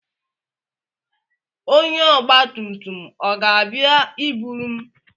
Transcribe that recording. Onye ọgba tum tum o ga-abia iburu m.